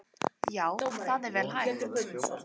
Já það er vel hægt.